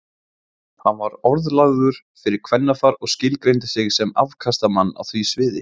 Hann var orðlagður fyrir kvennafar og skilgreindi sig sem afkastamann á því sviði.